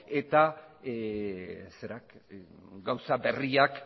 eta gauza berriak